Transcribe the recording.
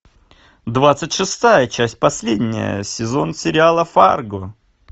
двадцать шестая часть последняя сезон сериала фарго